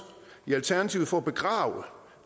i alternativet for at begrave